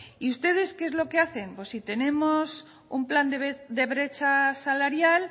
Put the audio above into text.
ustedes qué es lo que hacen pues si tenemos un plan de brecha salarial